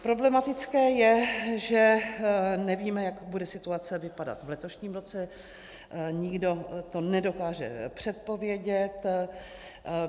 Problematické je, že nevíme, jak bude situace vypadat v letošním roce, nikdo to nedokáže předpovědět.